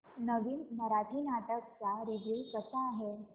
नवीन मराठी नाटक चा रिव्यू कसा आहे